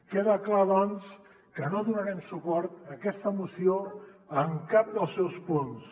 queda clar doncs que no donarem suport a aquesta moció en cap dels seus punts